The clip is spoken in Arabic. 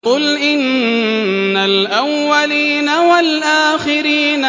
قُلْ إِنَّ الْأَوَّلِينَ وَالْآخِرِينَ